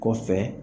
Kɔfɛ